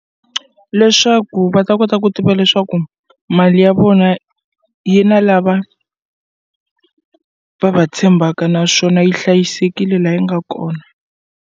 Leswaku va ta kota ku tiva leswaku mali ya vona yi na lava va va tshembaka naswona yi hlayisekile la yi nga kona.